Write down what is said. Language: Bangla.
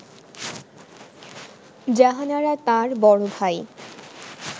জাহানারা তাঁর বড় ভাই